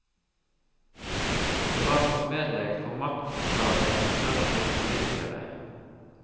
Det var forsmedelig for maktglade konservative politikere.